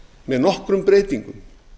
með nokkrum breytingum